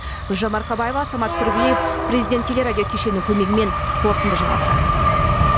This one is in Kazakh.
гулжан марқабаева самат курбиев президент телерадиокешенінің көмегімен қорытынды жаңалықтар